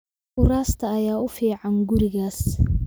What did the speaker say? Kuraasta ayaa u fiican gurigaas